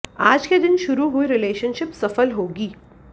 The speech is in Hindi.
आज के दिन शुरू हुई रिलेशनशिप सफल होगी